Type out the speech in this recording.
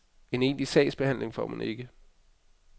En egentlig sagsbehandling får man ikke.